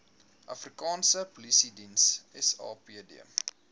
afrikaanse polisiediens sapd